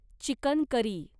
chicken curry